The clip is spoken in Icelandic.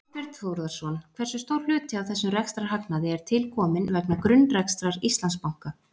Þorbjörn Þórðarson: Hversu stór hluti af þessum rekstrarhagnaði er tilkominn vegna grunnrekstrar Íslandsbanka?